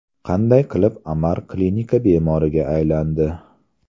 Qanday qilib Amar klinika bemoriga aylandi?